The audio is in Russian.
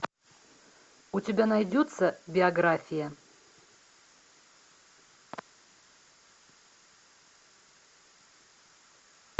у тебя найдется биография